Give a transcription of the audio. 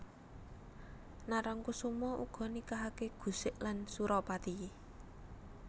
Narangkusuma uga nikahake Gusik lan Suropati